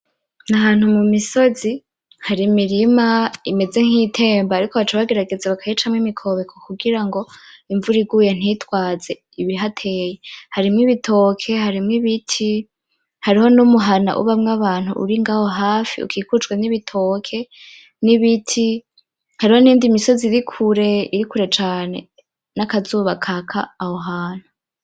Ni ahantu mu misozi, hari imirima imeze nk'iyitemba ariko baca bagerageza bakayicamwo imikobeko kugira ngo imvura iguye ntitwaze ibihataye. Harimwo ibitoke, harimwo ibiti, hariho n'umuhana ubamwo abantu uri ngaho hafi ukikujwe n'ibitoke n'ibiti. Hariho n'iyindi misozi iri kure, iri kure cane n'akazuba kaka aho hantu.